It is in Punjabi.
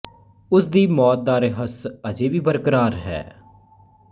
ਉਸ ਦੀ ਮੌਤ ਦਾ ਰਹੱਸ ਅਜੇ ਵੀ ਬਰਕਰਾਰ ਹੈ